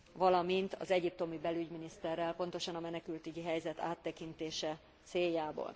Valamint az egyiptomi belügyminiszterrel, pontosan a menekültügyi helyzet áttekintése céljából.